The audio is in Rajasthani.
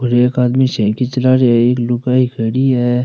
और एक आदमी साईकिल चला रिया एक लुगाई खड़ी है।